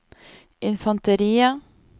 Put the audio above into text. infanteriet